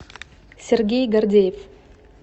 сергей гордеев